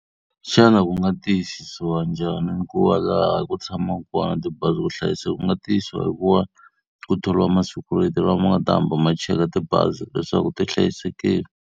Xana ku nga tiyisisiwa njhani ni ku va laha ku tshamaka kona tibazi ku hlayiseka? Ku nga tiyisiwa hi ku va ku thoriwa ma-security lama ma nga ta hamba ma cheka tibazi leswaku ti hlayisekile.